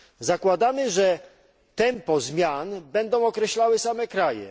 Zakładamy, że tempo zmian będą określały same kraje.